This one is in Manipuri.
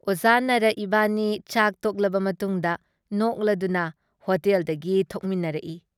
ꯑꯣꯖꯥ ꯅꯥꯔꯥ ꯏꯕꯥꯅꯤ ꯆꯥꯛ ꯇꯣꯛꯂꯕ ꯃꯇꯨꯡꯗ ꯅꯣꯛꯂꯗꯨꯅ ꯍꯣꯇꯦꯜꯗꯒꯤ ꯊꯣꯛꯃꯤꯟꯅꯔꯛꯏ ꯫